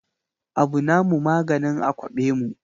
Abu na mu maganin a kwaɓe mu